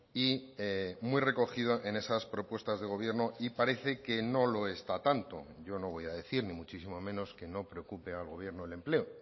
y muy recogido en esas propuestas de gobierno y parece que no lo está tanto yo no voy a decir ni muchísimo menos que no preocupe al gobierno el empleo